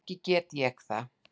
Ekki get ég það.